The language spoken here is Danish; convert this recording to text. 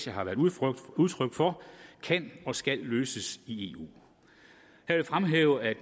har været udtryk udtryk for kan og skal løses i eu jeg vil fremhæve at